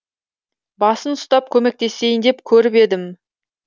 басын ұстап көмектесейін деп көріп едім